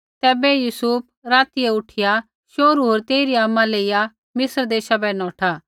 तैबै यूसुफ रातियै उठिया शोहरू होर तेइरी आमा लेइया मिस्र देशा बै नौठा